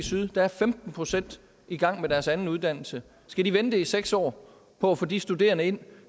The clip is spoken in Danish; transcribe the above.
er femten procent i gang med deres anden uddannelse skal de vente i seks år på at få de studerende ind